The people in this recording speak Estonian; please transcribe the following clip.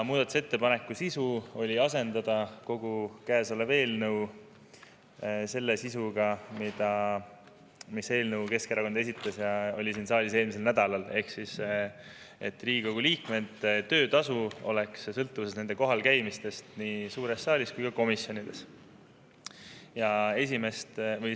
Muudatusettepaneku sisu oli asendada kogu käesolev eelnõu sisuga, mis oli Keskerakonna esitatud eelnõus – oli siin saalis eelmisel nädalal –, ehk siis et Riigikogu liikmete töötasu oleks sõltuvuses nende kohalkäimistest nii suure saali kui ka komisjonide.